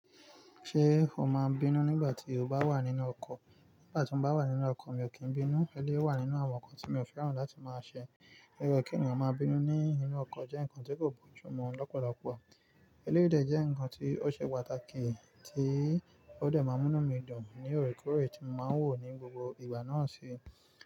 Ṣé o máa bínú nígbà tí o bá wà nínú ọkọ̀? Nígbà tí mo bá wà nínú ọkọ̀, mi ò kí n bínú. Eléyìí wà nínú àwọn nǹkan tí mi ò fẹ́ràn láti máa ṣe. Gẹ́gẹ́ kí ènìyàn máa bínú nínú ọkọ̀ jẹ́ nǹkan tí kò bójú mu lọ́pọ̀lọpọ̀. Eléyìí jẹ́ nǹkan tí ó ṣe pàtàkì tí ó dẹ̀ máa mú mí dùn ní òkúkọrò tí mo máa ń wò ní gbogbo ìgbà náà sí.